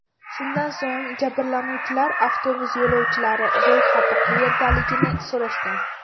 Shundan so‘ng jabrlanuvchilar avtobus yo‘lovchilari ro‘yxati qayerdaligini so‘rashgan.